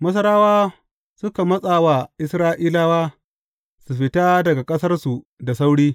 Masarawa suka matsa wa Isra’ilawa su fita daga ƙasarsu da sauri.